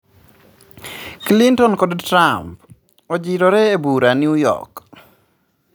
Clinton kod Trump ojirore ebura New York